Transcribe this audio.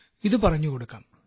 ഇത് പറഞ്ഞുകൊടുക്കാം